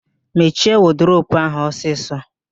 Mechie wọdụrobu ahụ ọsịsọ!